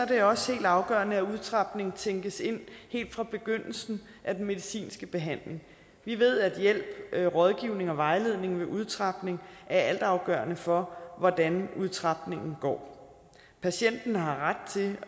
det også helt afgørende at udtrapningen tænkes ind helt fra begyndelsen af den medicinske behandling vi ved at hjælp rådgivning og vejledning ved udtrapning er altafgørende for hvordan udtrapningen går patienten har ret til